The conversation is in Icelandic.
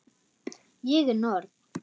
Ég er norn.